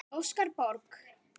Óskar Borg.